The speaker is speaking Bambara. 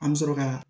An bɛ sɔrɔ ka